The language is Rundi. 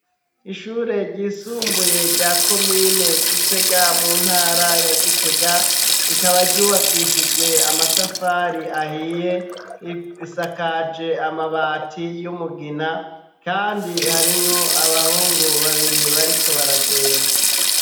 Ishure ryisumbuye rya komine Gitega mu ntara ya Gitega rikaba ryubakishijwe amatafari ahiye isakaje amabati y'umugina kandi harimwo abahungu babiri bariko baragenda.